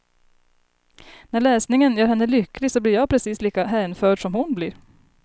När läsningen gör henne lycklig så blir jag precis lika hänförd som hon blir.